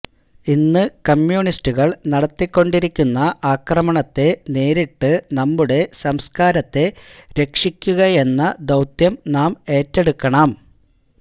ഇന്ന് കമ്മ്യൂണിസ്റ്റുകള് നടത്തിക്കൊണ്ടിരിക്കുന്ന അക്രമണത്തെ നേരിട്ട് നമ്മുടെ സംസ്കാരത്തെ രക്ഷിക്കുകയെന്ന ദൌത്യം നാം എറ്റെടുക്കണം